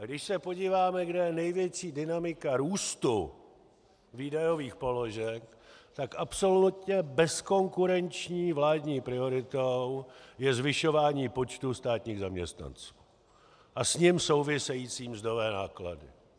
A když se podíváme, kde je největší dynamika růstu výdajových položek, tak absolutně bezkonkurenční vládní prioritou je zvyšování počtu státních zaměstnanců a s ním související mzdové náklady.